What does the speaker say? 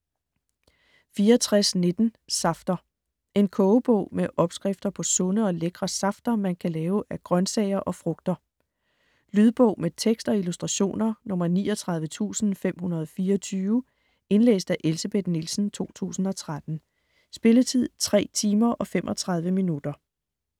64.19 Safter En kogebog med opskrifter på sunde og lækre safter, man kan lave af grøntsager og frugter. Lydbog med tekst og illustrationer 39524 Indlæst af Elsebeth Nielsen, 2013. Spilletid: 3 timer, 35 minutter.